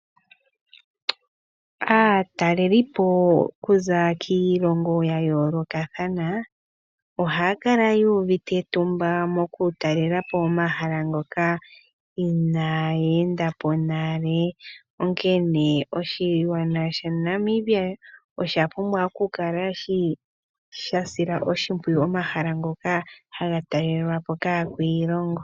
Aatalelipo kuza kiilongo ya yoolokathana, ohaya kala yu uvite etumba moku talelapo omahala ngoka inaye endapo nale. Onkene oshigwana sha Namibia osha pumbwa okukala sha sila oshimpwiyu omahala ngoka haga talelwa po kaakwiilongo.